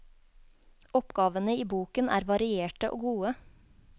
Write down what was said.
Oppgavene i boken er varierte og gode.